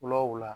Wula